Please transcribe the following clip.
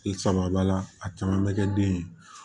I saba b'a la a caman bɛ kɛ den ye